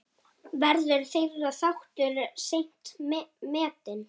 Verður þeirra þáttur seint metinn.